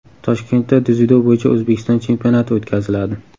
Toshkentda dzyudo bo‘yicha O‘zbekiston chempionati o‘tkaziladi.